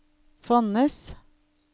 Fonnes